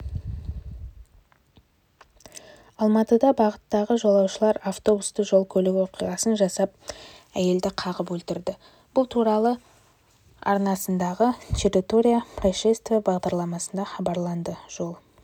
алматыда бағыттағы жолаушылар автобусы жол-көлік оқиғасын жасап әйелді қағып өлтірді бұл туралы арнасындағытерритория происшествийбағдарламасында хабарланды жол